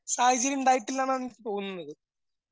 സാഹചര്യണ്ടാട്ടില്ലന്നാണ് എനിക്ക് തോന്നുന്നത്.